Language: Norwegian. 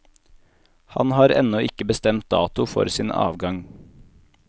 Han har ennå ikke bestemt dato for sin avgang.